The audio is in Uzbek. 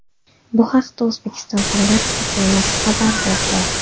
Bu haqda O‘zbekiston Fanlar akademiyasi xabar berdi .